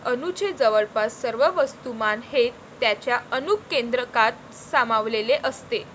अणूचे जवळपास सर्व वस्तूमान हे त्याच्या अणुकेंद्रकात सामावलेले असते.